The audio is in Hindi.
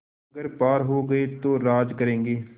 अगर पार हो गये तो राज करेंगे